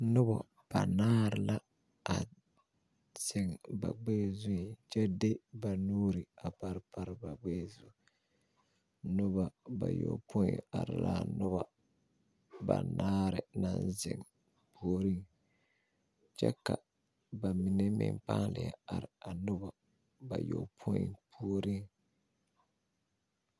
Noba banaare la a ziŋ ba gbɛɛ zu kyɛ de ba nuuri a pare pare ba gbɛɛ zu noba bayɔpoi are la noba banaare naŋ ziŋ puoriŋ kyɛ ka ba mine meŋ paa leɛ are a noba bayɔpoi puoriŋ.